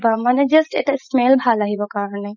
মানে just এটা smell ভাল আহিব কাৰণে